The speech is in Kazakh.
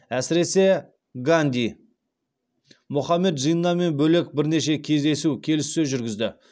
әсіресе ганди мұхаммед джиннамен бөлек бірнеше кездесу келіссөз жүргізді